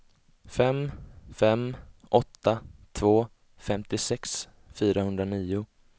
fem fem åtta två femtiosex fyrahundranio